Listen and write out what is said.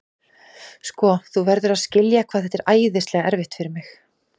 Sko, þú verður að skilja hvað þetta er æðislega erfitt fyrir mig.